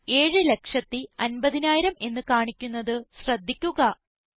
ഫലം 750000 എന്ന് കാണിക്കുന്നത് ശ്രദ്ധിക്കുക